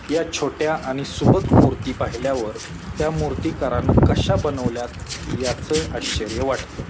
या छोट्या आणि सुबक मूर्ती पाहिल्यावर त्या मूर्तीकारन कश्या बनवल्यात याच आश्चर्य वाटत.